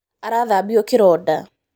Arathambio kĩronda